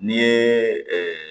N'i ye